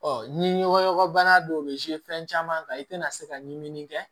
ni ɲɔgɔn bana dɔw bɛ fɛn caman kan i tɛna se ka ɲimini kɛ